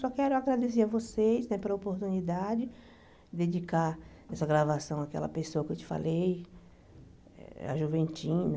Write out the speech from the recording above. Só quero agradecer a vocês né pela oportunidade de dedicar essa gravação àquela pessoa que eu te falei, a Juventina.